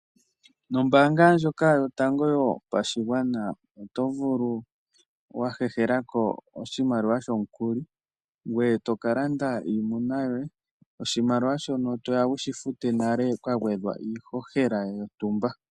Nombaanga ndjoka yotango yopashigwana oto vulu wahehelako oshimaliwa shomukuli, ngweye tokalanda iimuna yoye, oshimaliwa shono toya wushi fute nale kwa gwedhwa iihohela yontumba.